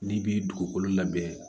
N'i bi dugukolo labɛn